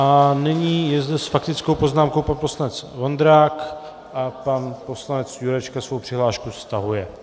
A nyní je zde s faktickou poznámkou pan poslanec Vondrák a pan poslanec Jurečka svou přihlášku stahuje.